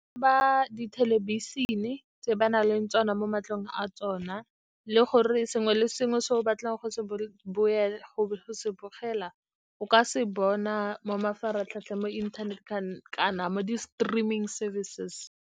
Ba di thelebišene tse ba nang le tsona mo matlong a tsona, le gore sengwe le sengwe se o batlang go se bogela, o ka se bona mo mafaratlhatlheng, mo inthaneteng kana mo di-streaming service.